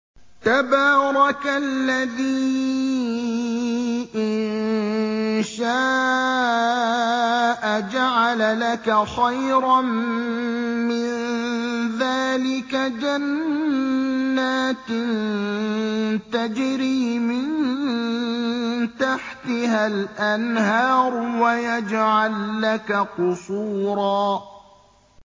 تَبَارَكَ الَّذِي إِن شَاءَ جَعَلَ لَكَ خَيْرًا مِّن ذَٰلِكَ جَنَّاتٍ تَجْرِي مِن تَحْتِهَا الْأَنْهَارُ وَيَجْعَل لَّكَ قُصُورًا